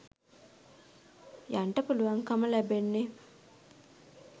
යන්ට පුළුවන්කම ලැබෙන්නේ.